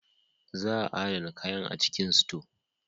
Za a adana kayan a cikin sito.